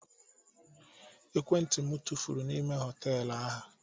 Ekwentị m tụfuru n'ime họtelu ahụ.